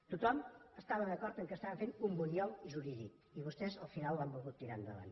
tothom estava d’acord que estaven fent un bunyol jurídic i vostès al final l’han volgut tirar endavant